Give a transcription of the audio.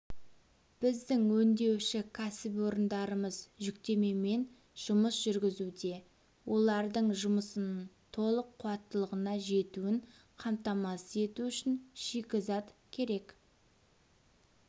біздің өңдеуші кәсіпорындарымыз жүктемемен жұмыс жүргізуде олардың жұмысының толық қуаттылығына жетуін қамтамасыз ету үшін шикізат керек